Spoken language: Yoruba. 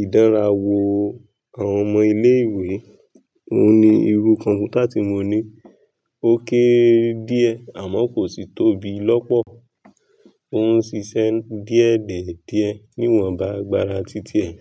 ìdánrawò àwọn ọmọ ilé ìwé. Òun ni irú kọ̀ǹpútà tí mo ní. Ó kéré díẹ̀ àmọ́ kò sì tóbi lọ́pọ̀. Òun ń ṣiṣẹ́ díẹ̀ die díẹ̀ níwọ̀n bá agbára títí ẹ̀.